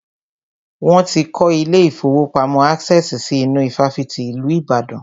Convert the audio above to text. Wọ́n ti kọ́ ilé ìfọwọ́pamo Access si inú ifáfitì ìlú Ìbàdàn.